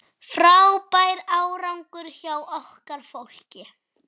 Frábær árangur hjá okkar fólki.